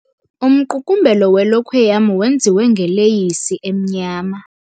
Umqukumbelo welokhwe yam wenziwe ngeleyisi emnyama.